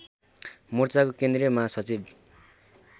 मोर्चाको केन्द्रीय महासचिव